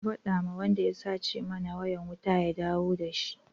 Ka faɗa wa wanda ya sace mana wayan wuta ya dawo da shi!